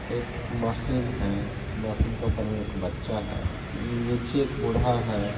एक मशीन है मशीन का ऊपर एक बच्चा है नीचे बूढ़ा है।